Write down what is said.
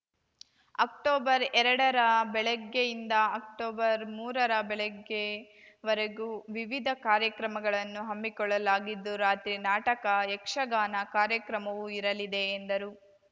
October ಎರಡರ ಬೆಳಗ್ಗೆಯಿಂದ ಅಕ್ಟೋಬರ್‌ಮೂರರ ಬೆಳಗ್ಗೆ ವರೆಗೂ ವಿವಿಧ ಕಾರ್ಯಕ್ರಮಗಳನ್ನು ಹಮ್ಮಿಕೊಳ್ಳಲಾಗಿದ್ದು ರಾತ್ರಿ ನಾಟಕ ಯಕ್ಷಗಾನ ಕಾರ್ಯಕ್ರಮವೂ ಇರಲಿದೆ ಎಂದರು